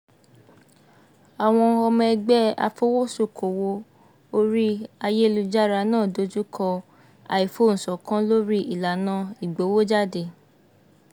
àwọn ọmọ ẹgbẹ́ afowósókòwò orí ayélujára náà dojú kọ àìfohùnṣọ̀kan lórí ìlànà ìgbowójáde